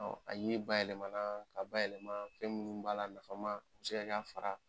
A yiri bayɛlɛma na, ka bayɛlɛma fɛn munnu b'a la, nafama a bi se ka k'a fara.